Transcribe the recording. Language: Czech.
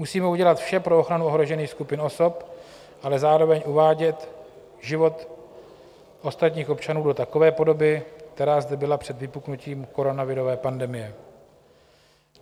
Musíme udělat vše pro ochranu ohrožených skupin osob, ale zároveň uvádět život ostatních občanů do takové podoby, která zde byla před vypuknutím koronavirové pandemie.